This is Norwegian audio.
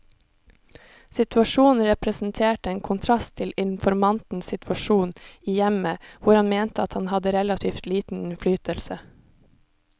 Situasjonen representerte en kontrast til informantens situasjon i hjemmet, hvor han mente at han hadde relativt liten innflytelse.